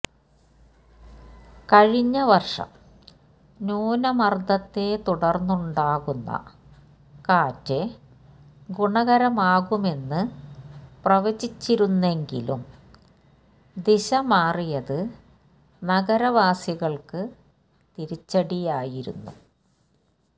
കഴിഞ്ഞ വർഷം ന്യൂനമർദത്തെത്തുടർന്നുണ്ടാകുന്ന കാറ്റ് ഗുണകരമാകുമെന്ന് പ്രവചിച്ചിരുന്നെങ്കിലും ദിശ മാറിയത് നഗരവാസികൾക്ക് തിരിച്ചടിയായിരുന്നു